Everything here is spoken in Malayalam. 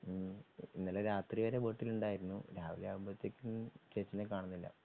ഉം ഇന്നലെ രാത്രിവരെ വീട്ടിലുണ്ടായിരുന്നു രാവിലെ ആവുമ്പത്തേക്കും ചേച്ചീനെ കാണുന്നില്ല.